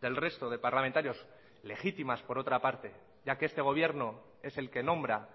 del resto de parlamentarios legítimas por otra parte ya que este gobierno es el que nombra